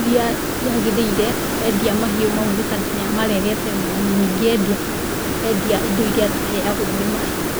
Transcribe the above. iria ciagĩrĩire endia mahiũ mau nĩ tondũ nĩamarerete wega na ningĩ endia, endia indo iria tũheyagwo nĩ mahiũ.